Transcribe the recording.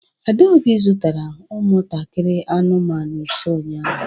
Adaobi zụtara ụmụntakịrị anụmanụ ise ụnyahụ